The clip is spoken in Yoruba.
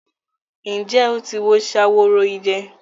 Ǹjẹ́ o ti wo Ṣaworoide?